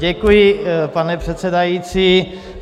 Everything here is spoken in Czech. Děkuji, pane předsedající.